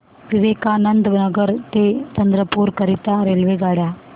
विवेकानंद नगर ते चंद्रपूर करीता रेल्वेगाड्या